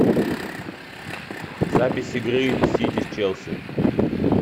запись игры сити с челси